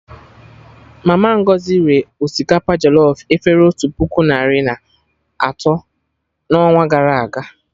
Mama Ngozi ree osikapa jọlọf efere otu puku narị na atọ na ọnwa gara aga